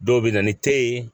Dɔw bɛ na ni te ye